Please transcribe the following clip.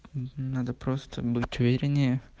угу надо просто будь увереннее